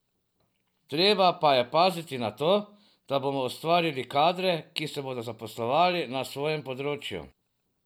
Treba pa je paziti na to, da bomo ustvarjali kadre, ki se bodo zaposlovali na svojem področju.